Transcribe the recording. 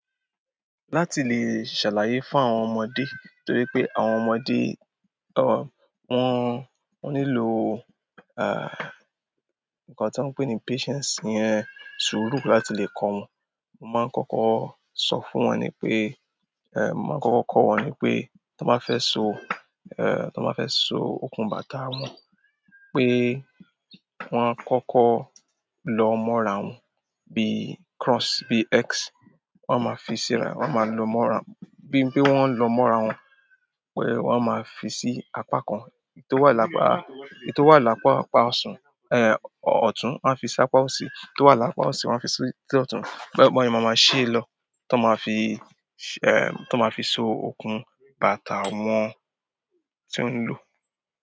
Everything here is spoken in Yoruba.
Láti lè ṣàlàyé fún àwọn ọmọdé, torí pé àwọn ọmọdé o, wọ́n, wọ́n nílò ah nǹkan tí wọ́n ń pè ní patience iyẹn ṣúrù láti lè kọ wọ́n. Mo máa ń kọ́kọ́ sọ fún wọn ni pé, eh mo máa ń kọ́kọ́ kọ́ wọn ni pé, tí wọ́n bá fẹ́ so, eh tí wọ́n bá fẹ́ so okùn bàtà wọn pé wọ́n á kọ́kọ́ lọ mọ́ ara wọn bí cross, bí X wọ́n máa fi síra, wọ́n máa lo mọ́ ara wọn. Bí pe wọ́n ń lọ mọ́ ara wọn, pé wọ́n máa fi sí apá kan, èyí tó wà lápa, èyí tó wà lápa apá ọsan, eh ọ̀tún wọn a fi sí apá òsì, èyí tó wà lápa òsì máa ń fi sí tí ọ̀tún. Bọ́ ìbọn yẹn máa máa ṣí lọ tí wọ́n máa fi ṣẹ, eh tí wọ́n máa fi so okùn bàtà wọn tí wọ́n ń lò.